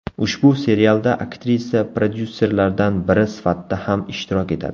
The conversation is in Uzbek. Ushbu serialda aktrisa prodyusserlardan biri sifatida ham ishtirok etadi.